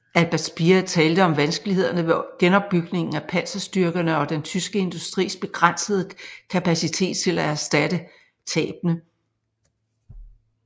Albert Speer talte om vanskelighederne ved genopbygningen af panserstyrkerne og den tyske industris begrænsede kapacitet til at erstatte tabene